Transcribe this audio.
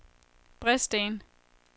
Bredsten